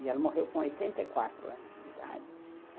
E ela morreu com oitenta e quatro anos de idade.